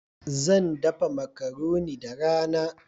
Zan dafa macaroni da rana